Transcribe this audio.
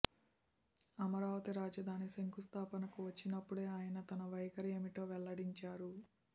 అమరావతి రాజధాని శంకుస్థాపనకు వచ్చినపుడే అయన తన వైఖరి ఏమిటో వెల్లడించారు